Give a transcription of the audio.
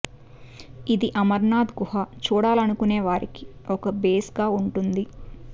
ఇది అమరనాథ్ గుహ చూడాలనుకునే వారికి ఒక బేస్ గా వుంటుంది